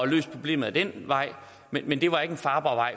løst problemet ad den vej men det var ikke en farbar vej